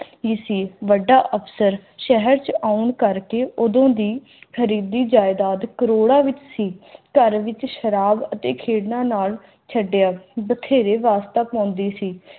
ਕੀ ਸੀ ਵੱਡਾ ਅਫਸਰ ਸ਼ਹਿਰ ਚ ਆਉਣ ਕਰਕੇ ਉਦੋਂ ਦੀ ਅੱਧੀ ਜਾਇਦਾਦ ਕਰੋੜਾਂ ਵਿੱਚ ਸੀ ਘਰ ਵਿੱਚ ਸ਼ਰਾਬ ਅਤੇ ਖੇਡਾਂ ਨਾਲ ਛੱਡਿਆ ਬਥੇਰੇ ਵਸਤਾਗ ਹੋਂਦੀ ਸੀ